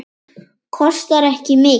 Kostar ekki mikið.